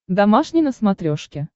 домашний на смотрешке